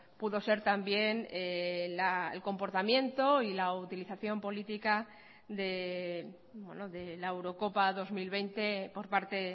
pudo ser también el comportamiento y la utilización política de la eurocopa dos mil veinte por parte